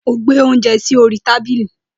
Ó gbé óúnjẹ sí orí tábìlì.